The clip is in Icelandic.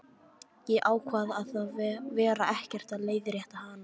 Ég ákvað að vera ekkert að leiðrétta hana.